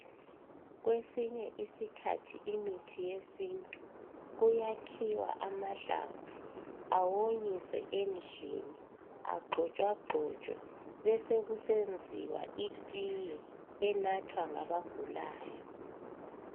Kwesinye iskhathi imithi yesintu kuyakhiwa amahlamvu awonyiswe endlini agxotshwagxotshwe besekusenziwa itiye enathwa ngabagulayo